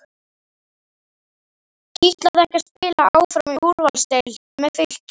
Kitlaði ekki að spila áfram í úrvalsdeild með Fylki?